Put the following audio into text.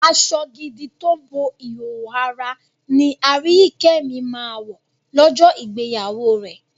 Aṣọ gidi tó bo ìhòòhò ara ni Aríyìíkẹ́ mi máa wọ̀ lọ́jọ́ ìgbéyàwó rẹ̀.